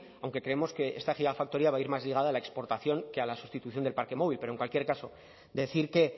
aunque creemos que esta gigafactoría va a ir más ligada a la exportación que a la sustitución del parque móvil pero en cualquier caso decir que